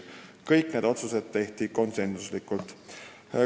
Kõik need otsused tehti konsensusega.